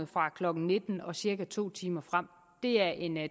fra klokken nitten og cirka to timer frem det er en